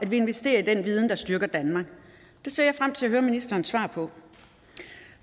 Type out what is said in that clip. vi investerer i den viden der styrker danmark det ser jeg frem til at høre ministerens svar på